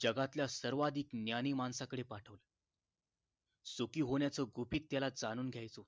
जगातल्या सर्वाधिक ज्ञानी माणसाकडे पाठवले सुखी होण्याच गुपित त्याला जाणून घ्यायचं होत